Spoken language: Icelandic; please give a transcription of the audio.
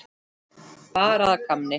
Bara að gamni.